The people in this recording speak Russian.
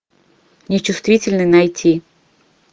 нечувствительный найти